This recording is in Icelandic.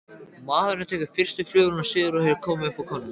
Maðurinn tekur fyrstu flugvél suður og hefur upp á konunni.